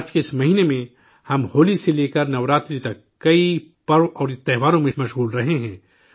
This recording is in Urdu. مارچ کے اس مہینہ میں، ہم ہولی سے لے کر نوراتری تک، کئی پرو اور تہواروں میں مصروف رہے ہیں